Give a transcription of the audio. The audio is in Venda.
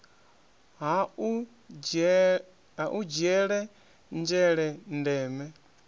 ha u dzhiele nzhele ndeme